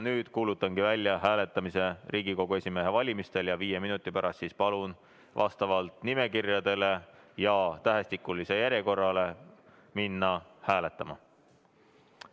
Nüüd kuulutangi välja hääletamise Riigikogu esimehe valimisel ja viie minuti pärast palun vastavalt nimekirjadele ja tähestikulisele järjekorrale minna hääletama.